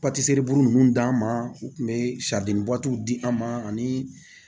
Paseliburu ninnu d'an ma u tun bɛ sari di an ma ani